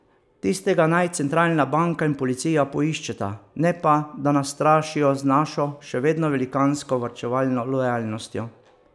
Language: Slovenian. Tistega naj centralna banka in policija poiščeta, ne pa, da nas strašijo z našo, še vedno velikansko, varčevalno lojalnostjo.